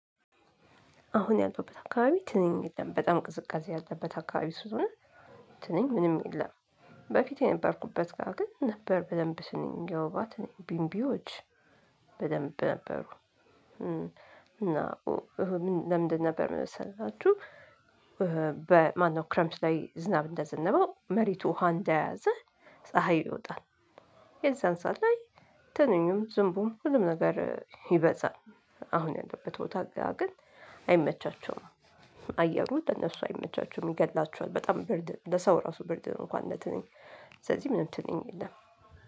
አሁን ያለሁበት አካባቢ ትንኝ የለም። በጣም ቅዝቃዜ ያለበት አካባቢ ስለሆነ ትንኝ ምንም የለም። በፊት የነበርኩበት ጋር ግን ነበር በደንብ ትንኝ፥ የወባ ትንኝ፣ ቢንቢዎች በደንብ ነበሩ። እና ለምንድን ነበር መሰላችሁ በማነው ክረምት ላይ ዝናብ እንደዘነበው መሬቱ ውሃ እንደያዘ፥ ፀሀይ ይወጣል። የዛን ሰዓት ላይ ትንኙም ዝንቡም ሁሉም ነገር ይበዛል። አሁን ያለሁበት ቦታ ግን አይመቻቸውም። አየሩ ለነሱ አይመቻቸውም ይገድላቸዋል በጣም ብርድ ነው ለሰው ራሱ ብርድ ነው እንኳን ለትንኝ። ስለዚህ ምንም ትንኝ የለም።